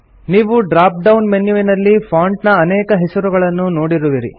ನೀವು drop down ಮೆನ್ಯುವಿನಲ್ಲಿ font ನ ಅನೇಕ ಹೆಸರುಗಳನ್ನು ನೋಡುವಿರಿ